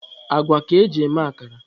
Agwa ka eji eme akara.